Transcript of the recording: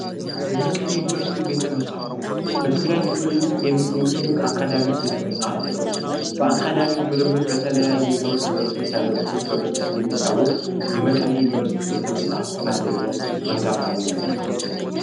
የመቀሌ ዩኒቨርስቲ ቤተመጻሕፍት በትግራይ ክልል ውስጥ የሚገኝ ትልቅ አካዳሚክ ቤተመጻሕፍት ቤት ነው። በአካዳሚክ ምርምር በተለያዩ የትምህርት ዘርፎች አገልግሎት በመስጠት የሚታወቅ የመቀሌ ዩኒቨርሲቲ ቤተመጻሕፍት አንደኛው ቤተመጻሕፍት ነው።